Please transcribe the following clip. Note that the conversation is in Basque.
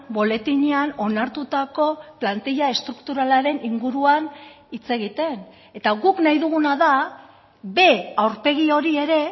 boletinean onartutako plantilla estrukturalaren inguruan hitz egiten eta guk nahi duguna da b aurpegi hori ere